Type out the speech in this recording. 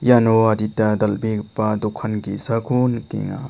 iano adita dal·begipa dokan ge·sako nikenga.